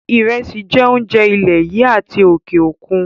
Ìrẹsí jẹ́ oúnjẹ ilè yìí àti òkè òkun.